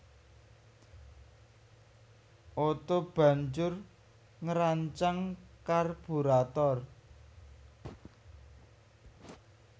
Otto banjur ngrancang karburator